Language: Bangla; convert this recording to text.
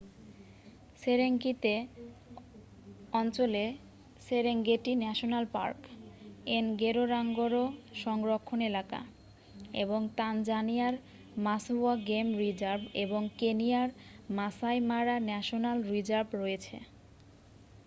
সেরেঙ্গেতি অঞ্চলে সেরেঙ্গেটি ন্যাশনাল পার্ক এনগোরোঙ্গোরো সংরক্ষণ এলাকা এবং তানজানিয়ার মাসওয়া গেম রিজার্ভ এবং কেনিয়ার মাসাই মারা ন্যাশনাল রিজার্ভ রয়েছে